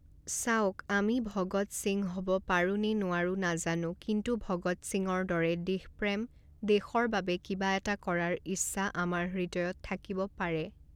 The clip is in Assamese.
চাওক, আমি ভগৎ সিং হ'ব পাৰো নে নোৱাৰো নাজানো কিন্তু ভগৎ সিঙৰ দৰে দেশ প্ৰেম, দেশৰ বাবে কিবা এটা কৰাৰ ইচ্ছা আমাৰ হৃদয়ত থাকিব পাৰে।